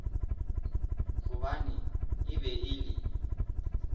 gobane e be e le